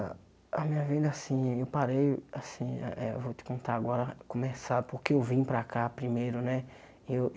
A a minha vida, assim, eu parei, assim, a eh eu vou te contar agora, começar porque eu vim para cá primeiro, né? Eu